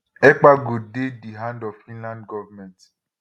ekpa go dey di hand of finland govment